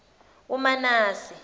umanase